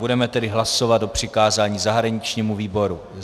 Budeme tedy hlasovat o přikázání zahraničnímu výboru.